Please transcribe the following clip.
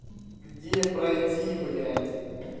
где пройти блядь